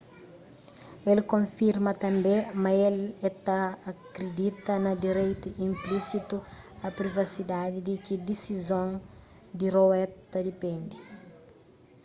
el konfirma tanbê ma el ta kridita na direitu inplisitu a privasidadi di ki disizon di roe ta dipende